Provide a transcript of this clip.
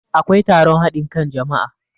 akwai taron hadin kan jama'a